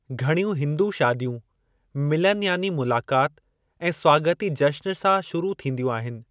घण्‍यूं हिंदू शादियूं मिलन यानी मुलाकात ऐं स्वागती जश्‍न सां शुरू थींदियूं आहिनि।